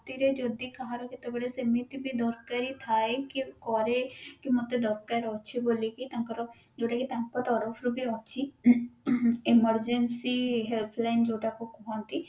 ରାତିରେ ଯଦି କାହାର କେତେବେଳେ ସେମିତି ବି ଦରକାରି ଥାଏ କି କରେ କି ମତେ ଦରକାର ଅଛି ବୋଲିକି ତାଙ୍କର ଯୋଉଟା କି ତାଙ୍କ ତରଫରୁ ବି ଅଛି emergency helpline ଯୋଉଟା କୁ କୁହନ୍ତି